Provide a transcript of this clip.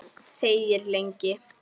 Þegir lengi.